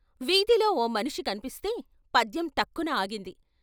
వీధిలో ఓ మనిషి కన్పిస్తే పద్యం టక్కున ఆగింది.